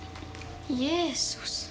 Jesús